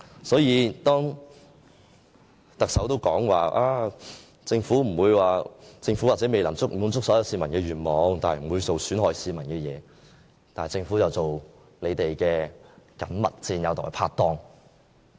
因此，當特首說政府也許未能滿足所有市民的願望，但不會做損害市民的事情時，政府卻又做他們的緊密戰友和拍黨。